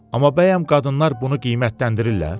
Amma bəyəm qadınlar bunu qiymətləndirirlər?